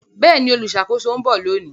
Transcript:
Bẹẹni, oluṣakoso n bọ loni